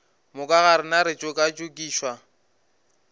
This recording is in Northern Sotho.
moka ga rena re tšokatšokišwa